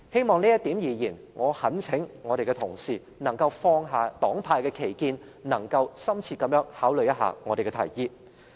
就這一點，我懇請同事放下黨派之間的歧見，深切考慮我們的提議。